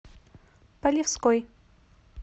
полевской